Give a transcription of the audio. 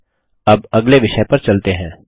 ठीक है अब अगले विषय पर चलते हैं